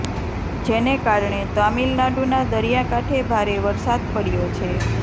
જેને કારણે તામિલનાડુના દરિયા કાંઠે ભારે વરસાદ પડયો છે